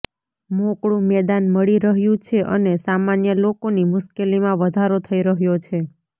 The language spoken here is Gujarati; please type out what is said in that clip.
મોકળું મેદાન મળી રહ્યું છે અને સામાન્ય લોકોની મુશ્કેલીમાં વધારો થઈ રહ્યો છે